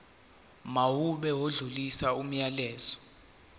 mawube odlulisa umyalezo